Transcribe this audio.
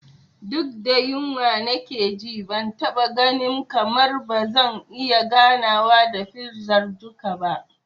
Duk da yunwa nake ji, ban taɓa ganin kamar ba zan iya gamawa da fizar duka ba.